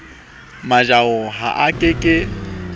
mojaho ha a ke ke